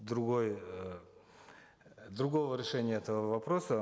другой эээ другого решения этого вопроса